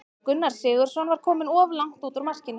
Gunnar Sigurðsson var kominn of langt út úr markinu.